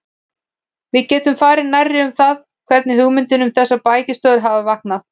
Við getum farið nærri um það, hvernig hugmyndin um þessar bækistöðvar hafði vaknað.